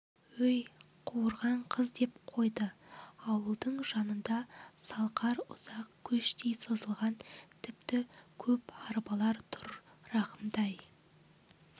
өй қуарған қыз деп қойды ауылдың жанында салқар ұзақ көштей созылған тіпті көп арбалар тұр рахымтай